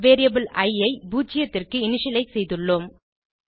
variable I 0 க்கு initialise செய்துள்ளோம்